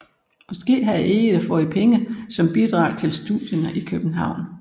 Måske havde Egede fået pengene som bidrag til studierne i København